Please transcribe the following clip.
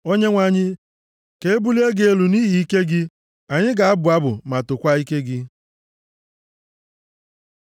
O Onyenwe anyị, ka e bulie gị elu nʼihi ike gị; anyị ga-abụ abụ ma tokwaa ike gị.